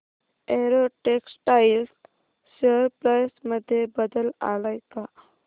Arrow Textiles share price मध्ये बदल आलाय का